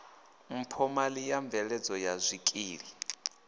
mphomali ya mveledzo ya zwikili